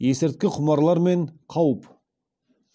есірткі құмарлар мен қауіп